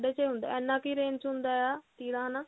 ਸਾਢ਼ੇ ਛੇ ਇੰਨਾ ਕੀ range ਚ ਹੁੰਦਾ ਆ ਤੀਰਾ ਹਨਾ